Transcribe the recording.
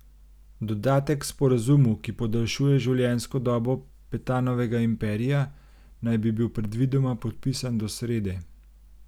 Dodatek k sporazumu, ki podaljšuje življenjsko dobo Petanovega imperija, naj bi bil predvidoma podpisan do srede.